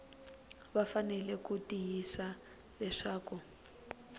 va fanele ku tiyisisa leswaku